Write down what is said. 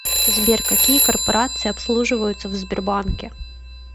сбер какие корпорации обслуживаются в сбербанке